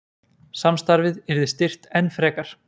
Samstarfið yrði styrkt enn frekar